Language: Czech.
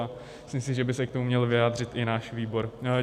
A myslím si, že by se k tomu měl vyjádřit i náš výbor.